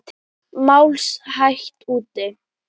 Mást hægt út.